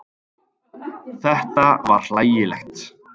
Þetta var hlægilegt.